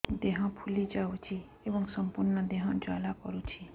ଦେହ ଫୁଲି ଯାଉଛି ଏବଂ ସମ୍ପୂର୍ଣ୍ଣ ଦେହ ଜ୍ୱାଳା କରୁଛି